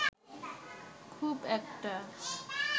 খুব একটা